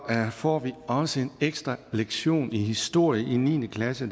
får vi også en ekstra lektion i historie i niende klasse